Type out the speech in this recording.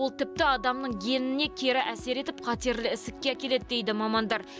ол тіпті адамның геніне кері әсер етіп қатерлі ісікке әкеледі дейді мамандар